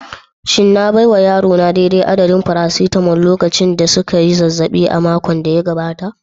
Shin na baiwa yarona daidai adadin "paracetamol" lokacin da suka yi zazzabi a makon da ya gabata?